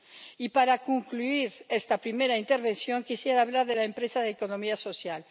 Y para concluir esta primera intervención, quisiera hablar de la empresa de economía social.